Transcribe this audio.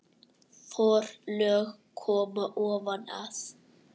Forlög koma ofan að